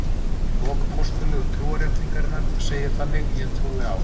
Í lok Postullegu trúarjátningarinnar segir þannig: Ég trúi á.